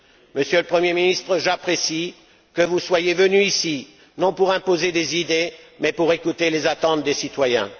Monsieur le Premier ministre, j'apprécie que vous soyez venu ici non pour imposer des idées mais pour écouter les attentes des citoyens.